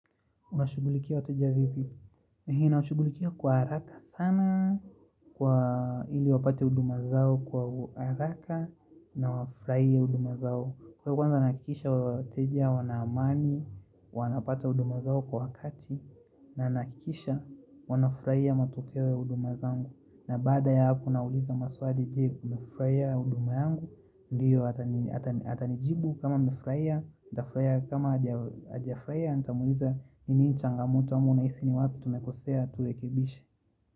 Unashugulikia wateja vipi ninashugulikia kwa haraka sana Kwa ili wapate huduma zao kwa haraka na wafurahie huduma zao Kwa hivyo kwanza nahakikisha wateja wana amani wanapata huduma zao kwa wakati na nahakikisha wanafurahia matokeo huduma zangu na baada ya hapo nawauliza maswali je mumefurahia huduma yangu ndiyo atanijibu kama mumefurahia kama hajafurahia Nitamuuliza ni nini changamoto ama unahisi ni wapi tumekosea turekebishe.